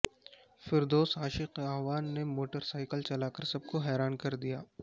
فردوس عاشق اعوان نےموٹر سائیکل چلا کر سب کو حیران کردیا